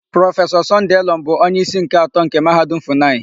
Prọfesọ Sọnde Elọm bụ onyeísí nke atọ nke Mahadum Fụnayị.